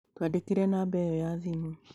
Twandĩkĩre namba ĩyo ya thimũ